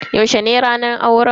Yaushe ne auren?